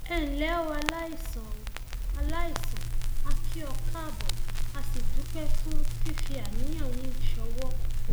ẹ ǹlẹ o aláìsàn o aláìsàn a kì ọ káàbọ a sì dúpẹ fún fífi àníyàn yín ṣọwọ